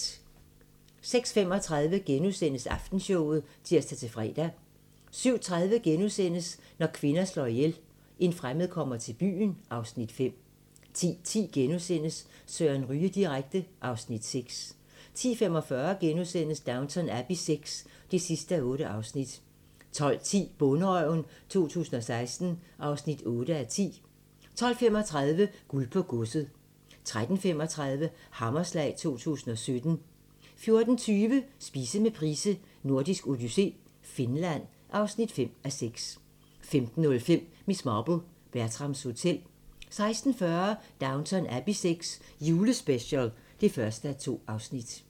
06:35: Aftenshowet *(tir-fre) 07:30: Når kvinder slår ihjel - En fremmed kommer til byen (Afs. 5)* 10:10: Søren Ryge direkte (Afs. 6)* 10:45: Downton Abbey VI (8:8)* 12:10: Bonderøven 2016 (8:10) 12:35: Guld på godset 13:35: Hammerslag 2017 14:20: Spise med Price: Nordisk Odyssé - Finland (5:6) 15:05: Miss Marple: Bertrams Hotel 16:40: Downton Abbey VI - julespecial (1:2)